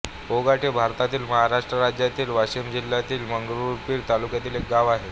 पोघाट हे भारतातील महाराष्ट्र राज्यातील वाशिम जिल्ह्यातील मंगरुळपीर तालुक्यातील एक गाव आहे